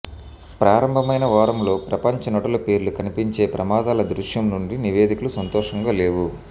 ప్రారంభమైన వారంలో ప్రపంచ నటుల పేర్లు కనిపించే ప్రమాదాల దృశ్యం నుండి నివేదికలు సంతోషంగా లేవు